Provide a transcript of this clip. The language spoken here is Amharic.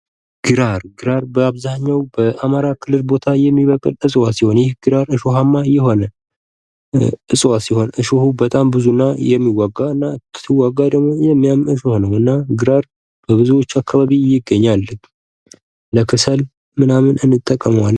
ግራር ግራር በአብዛኛው በአማራ ክልል ቦታ የሚበቅል እጽዋት ሲሆን ይህ ግራር እሾሃማ የሆነ እጽዋት ሲሆን እሾሁ በጣም ብዙ እና የሚዋጋ እና ሲዋጋ ደግሞ የሚያም እሾህ ነው እና ግራር በብዙዎች አካባቢ ይገኛል ለክሰል ምናምን እንጠቀመዋለን።